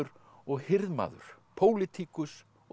og hirðmaður pólitíkus og